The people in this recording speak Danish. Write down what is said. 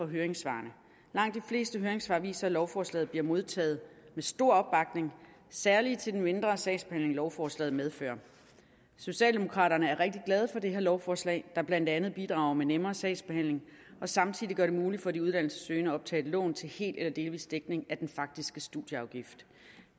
i høringssvarene langt de fleste høringssvar viser at lovforslaget bliver modtaget med stor opbakning særlig til den mindre sagsbehandling lovforslaget medfører socialdemokraterne er rigtig glade for det her lovforslag der blandt andet bidrager med nemmere sagsbehandling og samtidig gør det muligt for de uddannelsessøgende at optage lån til hel eller delvis dækning af den faktiske studieafgift